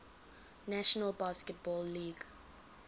national basketball league